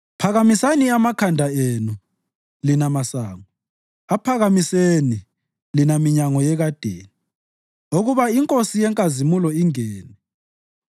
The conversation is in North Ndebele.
Phakamisani amakhanda enu, lina masango; aphakamiseni, lina minyango yekadeni, ukuba iNkosi yenkazimulo ingene.